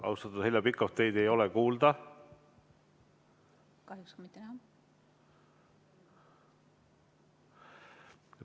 Austatud Heljo Pikhof, teid ei ole kuulda.